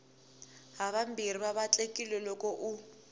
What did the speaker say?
havambirhi va vatlekile loko u